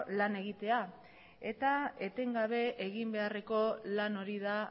lan egitea eta etengabe eginbeharreko lan hori da